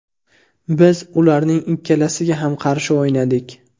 Biz ularning ikkalasiga ham qarshi o‘ynadik.